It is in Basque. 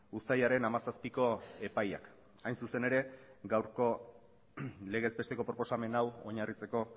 uztailaren hamazazpiko epaiak hain zuzen ere gaurko legez besteko proposamen hau oinarritzeko